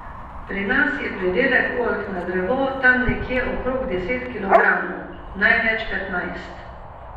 Pri nas je pridelek oljk na drevo tam nekje okrog deset kilogramov, največ petnajst.